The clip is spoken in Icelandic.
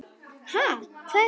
Ha, hvað er það?